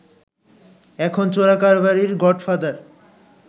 এখন চোরাকারবারির গডফাদার